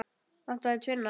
Vantar þig tvinna?